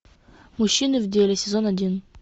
мужчины в деле сезон один